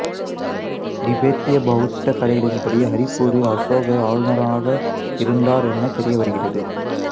திபெத்திய பௌத்த கதைகளின்படி ஹரிபூரில் அசோகர் ஆளுனரான இருந்தார் என தெரியவருகிறது